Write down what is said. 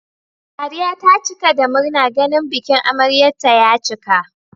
Sadiya ta cika da murna ganin bikin amaryar ta ya cika